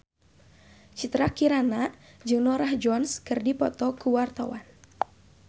Citra Kirana jeung Norah Jones keur dipoto ku wartawan